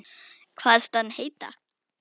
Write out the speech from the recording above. Kvaðst hann heita